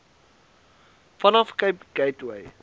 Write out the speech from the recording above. vanaf cape gateway